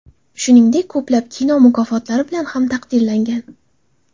Shuningdek, ko‘plab kino mukofotlari bilan ham taqdirlangan.